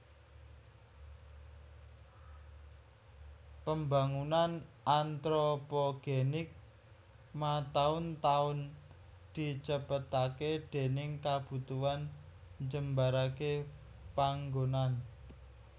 Pembangunan antropogenik mataun taun dicepetaké déning kabutuhan njembaraké panggonan